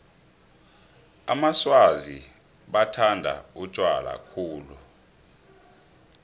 amaswazi bathanda utjwala khulu